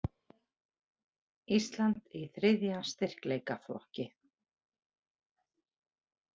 Ísland í þriðja styrkleikaflokki